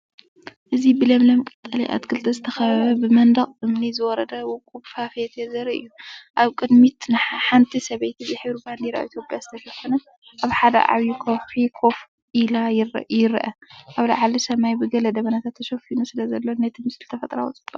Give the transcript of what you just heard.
እዚ ብለምለም ቀጠልያ ኣትክልቲ ዝተኸበበ፡ ብመንደቕ እምኒ ዝወረደ ውቁብ ፏፏቴ ዘርኢ እዩ። ኣብ ቅድሚት ሓንቲ ሰበይቲ ብሕብሪ ባንዴራ ኢትዮጵያ ዝተሸፈነ፡ኣብ ሓደ ዓቢ ከውሒ ኮፍ ኢሉ ይርአ። ኣብ ላዕሊ፡ሰማይ ብገለ ደበናታት ተሸፊኑ ስለዘሎ፡ነቲ ምስሊ ተፈጥሮኣዊ ጽባቐ ይህቦ።